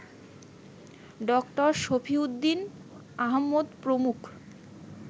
ড. শফিউদ্দিন আহমদ প্রমুখ